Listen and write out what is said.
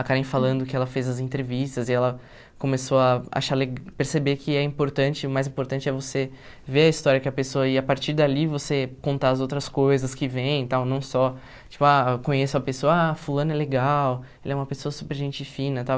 A Karen falando que ela fez as entrevistas e ela começou a achar le perceber que é importante, o mais importante é você ver a história que a pessoa... E a partir dali você contar as outras coisas que vem e tal, não só... Tipo, ah, conheço a pessoa, ah, fulano é legal, ele é uma pessoa super gente fina e tal.